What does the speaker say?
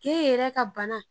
K'e yɛrɛ ka bana